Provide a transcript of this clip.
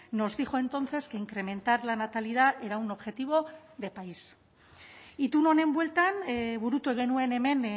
nos dijo entonces que incrementar la natalidad era un objetivo de país itun honen bueltan burutu genuen hemen